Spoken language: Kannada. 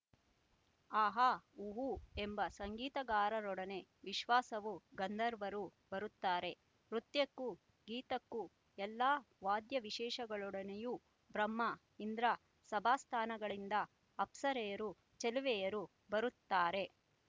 ಹಾಹಾ ಹೂಹೂ ಎಂಬ ಸಂಗೀತಗಾರರೊಡನೆ ವಿಶ್ವಾವು ಗಂಧರ್ವರು ಬರುತ್ತಾರೆ ನೃತ್ಯಕ್ಕೂ ಗೀತಕ್ಕೂ ಎಲ್ಲ ವಾದ್ಯ ವಿಶೇಷಗಳೊಡನೆಯೂ ಬ್ರಹ್ಮ ಇಂದ್ರ ಸಭಾಸ್ಥಾನಗಳಿಂದ ಅಪ್ಸರೆಯರು ಚೆಲುವೆಯರು ಬರುತ್ತಾರೆ